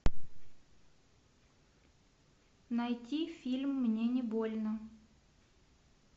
найти фильм мне не больно